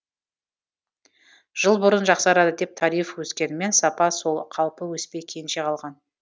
жыл бұрын жақсарады деп тариф өскенімен сапа сол қалпы өспей кенже қалған